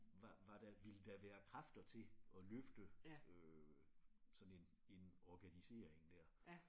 Var var der ville der være kræfter til at løfte øh sådan en en organisering der?